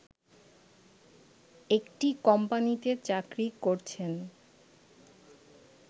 একটি কোম্পানিতে চাকরি করছেন